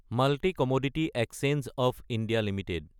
multi commodity exchange of India Ltd